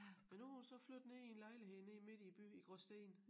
Men nu hun så flyttet ned i en lejlighed nede midt i æ by i Gråsten